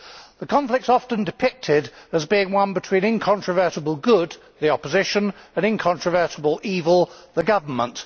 The conflict is often depicted as being one between incontrovertible good the opposition and incontrovertible evil the Government.